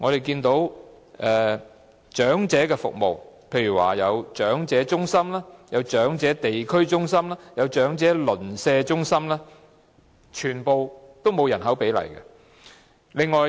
至於長者服務方面，包括長者中心、長者地區中心、長者鄰舍中心等，全部都沒有訂下人口比例。